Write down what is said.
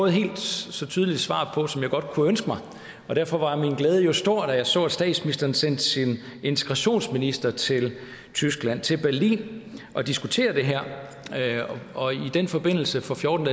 et helt så tydeligt svar på som jeg godt kunne ønske mig og derfor var min glæde stor da jeg så at statsministeren sendte sin integrationsminister til tyskland til berlin for at diskutere det her og i den forbindelse for fjorten